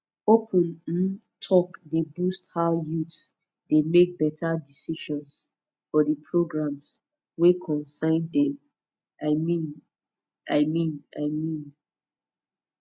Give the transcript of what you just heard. open um talk dey boost how youths dey make better decisions for di programs wey concern dem i mean i mean i mean